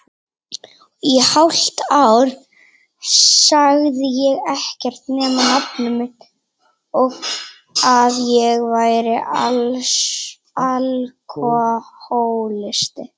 Í hálft ár sagði ég ekkert nema nafnið mitt og að ég væri alkohólisti.